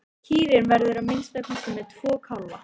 Kýrin verður að minnsta kosti með tvo kálfa.